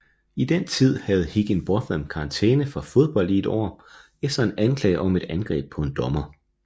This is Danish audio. I den tid havde Higginbotham karantæme fra fodbold i et år efter en anklage om et angreb på en dommer